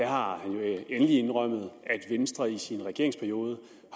har han endelig indrømmet at venstre i sin regeringsperiode